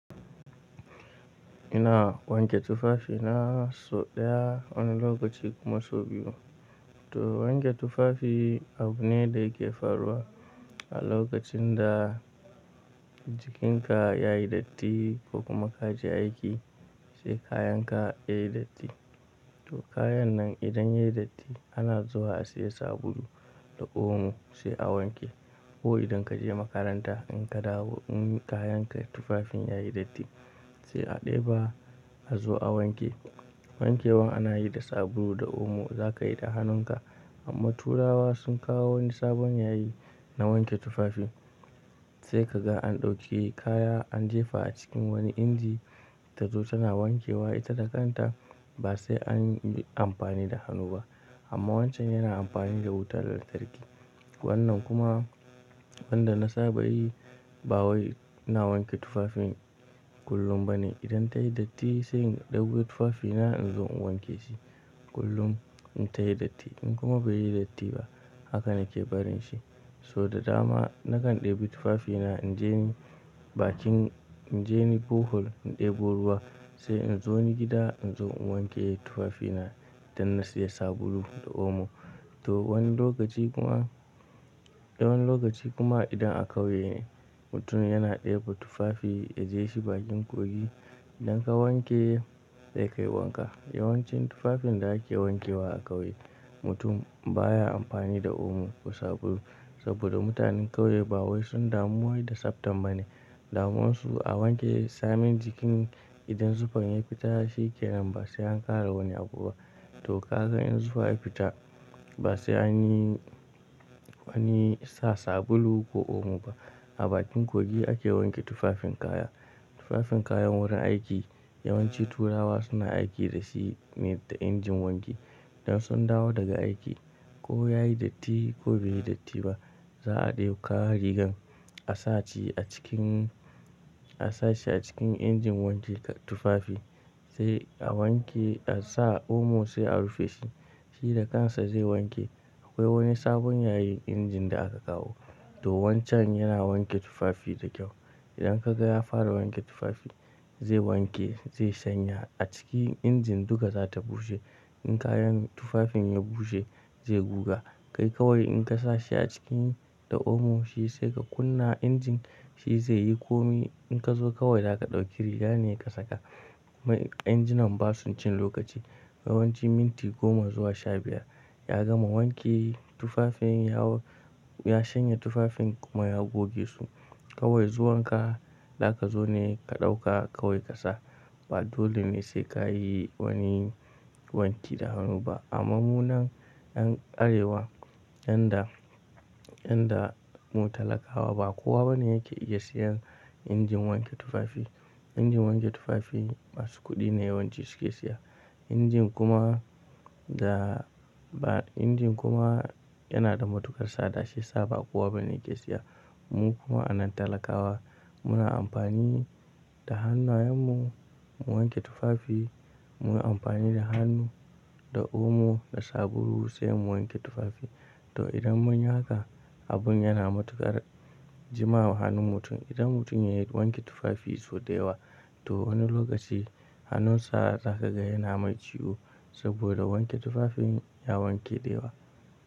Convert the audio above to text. Ina wanke tufafi na sau ɗaya wani lokaci kuma sau biyu. To wanke tufafi abu ne da yake faruwa a lokacin da jikinka yayi datti ko kuma ka je aiki sai kayanka yayi datti. To kayan nan idan yayi datti ana zuwa a siya sabulu da omo sai a wanke. Ko idan kaje makaranta in ka dawo in kayan ka tufafin yayi datti sai a ɗeba a zo a wanke. Wankewa ana yi da sabulu da omo za ka yi da hannunka. Amma turawa sun kawo wani sabon yayi na wanke tufafi. Sai kaga an ɗauki kaya an jefa a cikin wani inji ta zo tana wankewa ita da kanta ba sai an yi amfani da hannu ba. Amma wancan yana amfani da wutar da tarki. Wannan kuma wanda na saba yi ba wai ina wanke tufafin kullum ba ne. Idan ta yi datti sai in ɗebo tufafina in zo in wanke shi kullum in ta yi datti in kuma bai yi datti ba hakan yake barin shi. So da dama nakan ɗebi tufafina injeni bakin injeni Bohol na ɗebo ruwa sai in zo ni gida in zo in wanke tufafina idan na siya sabulu da omo. To wani lokaci kuma, da wani lokaci kuma idan a ƙauye mutum yana ɗebo tufafi ya je shi bakin kogi idan ka wanke ya kai wanka. Yawanci tufafin da ake wankewa a ƙauye mutum baya amfani da omo ko sabulu saboda mutanen ƙauye ba wai sun damuwi da tsaftan ba ne. Damunsu a wanke samin jikin idan zufan ya fita shi ke nan ba sai an ƙara wani abu ba. To ka ga in zufa ya fita ba sai anyi, anyi sa sabulu ko omo ba. A bakin kogi ake wanke tufafin kaya. Tufafin kayan wurin aiki yawanci turawa suna aiki da shi ne da injin wanki. Idan sun dawo daga aiki ko yayi datti ko bai yi datti ba za a ɗauka rigan a sace a cikin, a sashi a cikin injin wanke tufafi sai a wanke a sa omo sai a rufe shi. Shi da kansa zai wanke. Akwai wani sabon yayi injin da aka kawo. To wancan yana wanke tufafi da kyau. Idan ka ga ya fara wanke tufafi zai wanke zai shanya a ciki injin duka za ta bushe. In kayan tufafin ya bushe zai guga. Kai kawai in ka sashe a ciki da omo shi sai ka kunna injin shi zai yi komi. In ka zo kawai za ka ɗauki riga ne ka saka. Mai injinan ba su cin lokaci. Yawanci minti goma zuwa shabiyar ya gama wanke tufafin ya shanya tufafin kuma ya goge su. Kawai zuwanka za ka zo ne ka ɗauka kawai ka sa. Ba dole ne sai ka yi wani wanki da hannu ba. Amma munan ƴan arewa, ƴan da, ƴan da mu talakawa ba kowa bane yake iya siyan injin wanke tufafi. Injin wanke tufafi masu kuɗi ne yawanci suke siya. Injin kuma da, injin kuma yana da matuƙar tsaɗa shi saba kowa bane yake siya. Mu kuma anan talakawa muna amfani da hannayenmu mu wanke tufafi. Muna amfani da hannu, da omo, da sabulu sai mu wanke tufafi. To idan mun yi haka abun yana matuƙar jimawa hannun mutum. Idan mutum yayi wanke tufafi sau da yawa to wani lokaci hannunsa za ka ga yana mai ciwo saboda wanke tufafin ya wanke da yawa.